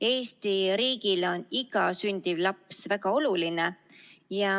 Eesti riigile on iga sündiv laps väga oluline.